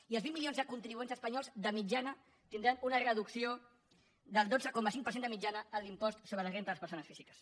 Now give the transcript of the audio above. i els vint milions de contribuents espanyols de mitjana tindran una reducció del dotze coma cinc per cent de mitjana en l’impost sobre la renda de les persones físiques